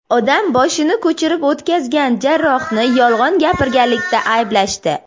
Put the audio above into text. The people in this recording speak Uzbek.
Odam boshini ko‘chirib o‘tkazgan jarrohni yolg‘on gapirganlikda ayblashdi.